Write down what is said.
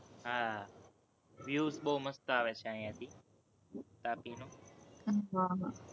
હા, views બોવ મસ્ત આવે છે, અહીંયાથી તાપીનો,